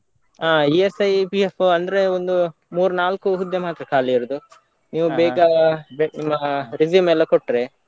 ಆ ESI, PF ಅಂದ್ರೆ ಒಂದು ಮೂರ್ ನಾಲ್ಕು ಹುದ್ದೆ ಮಾತ್ರ ಖಾಲಿ ಇರುದು. ನೀವು ನಿಮ್ಮ resume ಎಲ್ಲ ಕೊಟ್ರೆ.